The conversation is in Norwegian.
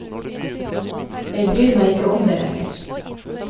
Jeg bryr meg ikke om det lenger.